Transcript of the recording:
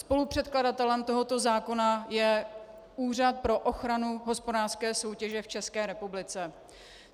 Spolupředkladatelem tohoto zákona je Úřad pro ochranu hospodářské soutěže v České republice.